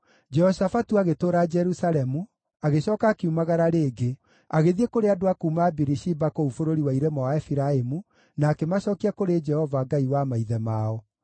Jehoshafatu agĩtũũra Jerusalemu, agĩcooka akiumagara rĩngĩ, agĩthiĩ kũrĩ andũ a kuuma Birishiba kũu bũrũri wa irĩma wa Efiraimu, na akĩmacookia kũrĩ Jehova, Ngai wa maithe mao.